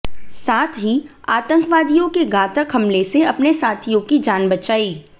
साथ ही आतंकवादियों के घातक हमले से अपने साथियों की जान बचाई